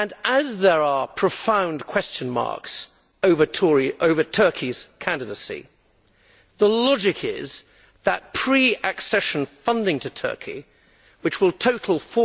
As there are profound question marks over Turkey's candidacy, the logic is that pre accession funding to Turkey, which will total EUR